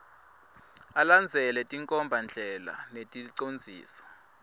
alandzele tinkhombandlela neticondziso